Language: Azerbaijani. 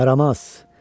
Yaramaz!